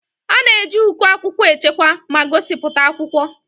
A na-eji uko akwụkwọ echekwa ma gosipụta akwụkwọ.